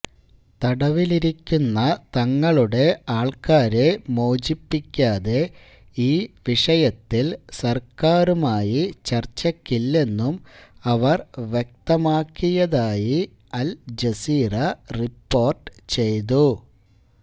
തടവിലിരിക്കുന്ന തങ്ങളുടെ ആൾക്കാരെ മോചിപ്പിക്കാതെ ഈ വിഷയത്തിൽ സർക്കാരുമായി ചർച്ചയ്ക്കില്ലെന്നും അവർ വ്യക്തമാക്കിയതായി അൽജസീറ റിപ്പോർട്ട് ചെയ്തു